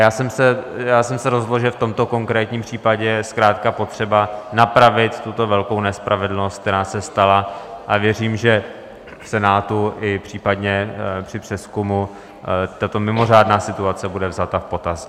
Já jsem se rozhodl, že v tomto konkrétním případě je zkrátka potřeba napravit tuto velkou nespravedlnost, která se stala, a věřím, že v Senátu i případně při přezkumu tato mimořádná situace bude vzata v potaz.